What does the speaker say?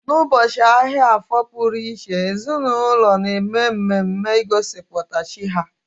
N'ụbọchị ahịa afo pụrụ iche, ezinaụlọ na-eme mmemme gosipụtara chi ha